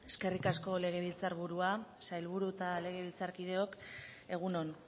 eskerrik asko legebiltzar burua sailburu eta legebiltzarkideok egun on